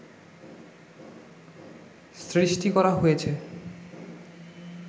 সৃষ্টি করা হয়েছে